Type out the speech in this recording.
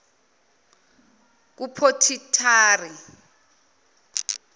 kuphothitari